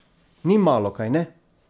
Ni malo, kajne?